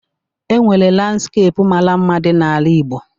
E nwere landskepu mara mma dị n'ala Igbo